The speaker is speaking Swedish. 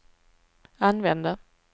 använde